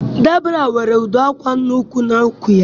Debra nwere agbụ afọ n'úkwù ya